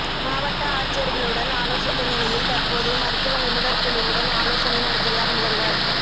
மாவட்ட ஆட்சியர்களுடன் ஆலோசித்த நிலையில் தற்போது மருத்துவ நிபுணர்குழுவுடன் ஆலோசனை நடத்துகிறார் முதல்வர்